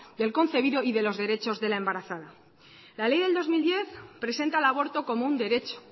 del concebido y de los derechos de la embarazada la ley del dos mil diez presenta el aborto como un derecho